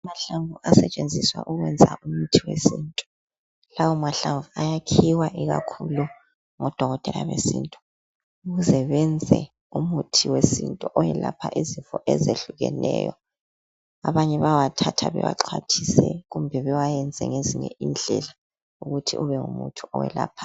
Amahlamvu asetshenziswa ukwenza umuthi wesintu. Lawo mahlamvu akhiwa ikakhulu ngodokotela besintu ukuze benze umuthi wesintu owelapha izifo ezehlukeneyo abanye bathatha bewaxhwathise kumbe bewayenze ngezinye indlela ukuthi ube ngumuthi olaphayo.